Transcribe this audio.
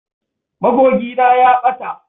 Magogina ya ɓata.